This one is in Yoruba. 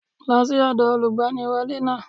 Lọ́ sí ọ̀dọ̀ Olùgbaniwọ́lé náà